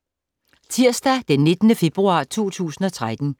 Tirsdag d. 19. februar 2013